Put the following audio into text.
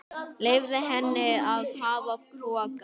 Leyfði henni að hafa pokann.